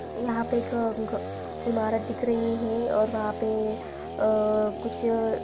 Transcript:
एक घ इमारत दिख रही है और वहा पे अअ कुछ--